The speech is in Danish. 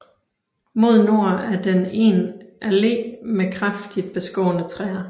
Mod nord er den en allé med kraftigt beskårne træer